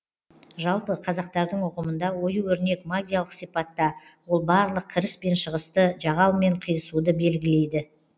жалпы қазақтардың ұғымында ою өрнек магиялық сипатта ол барлық кіріс пен шығысты жағал мен қиысуды белгілейді